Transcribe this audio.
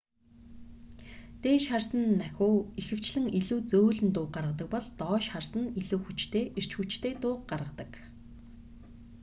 дээш харсан нахиу ихэвчлэн илүү зөөлөн дууг гаргадаг бол доош харсан нь илүү хүчтэй эрч хүчтэй дууг гаргадаг